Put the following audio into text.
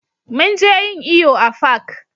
Mun je yin iyo a fak